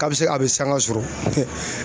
K'a bi se a bi sanga sɔrɔ.